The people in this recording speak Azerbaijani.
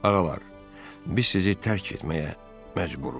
Ağalar, biz sizi tərk etməyə məcburuq.